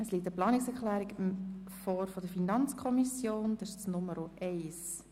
Es liegt eine Planungserklärung der FiKo-Mehrheit mit der Nummer 1 vor.